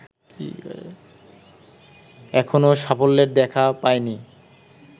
এখনো সাফল্যের দেখা পায়নি